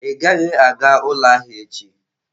Ị gaghị aga ụlọ ahịa echi!